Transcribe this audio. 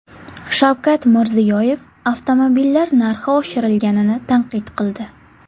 Shavkat Mirziyoyev avtomobillar narxi oshirilganini tanqid qildi.